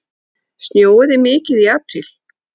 Snjóaði mikið í apríl?